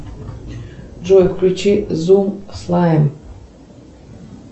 джой включи зум слайм